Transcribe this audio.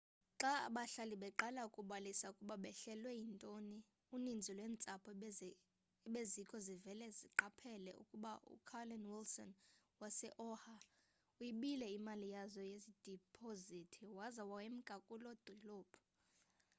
xa abahlali beqala ukubalisa ukuba behlelwe yintoni uninzi lweentsapho ebezikho zivele zqaphela ukuba ucarolyn wilson wase-oha uyibile iimali yazo yedipozithi waza wemka kuloo dolophu